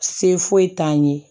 Se foyi t'an ye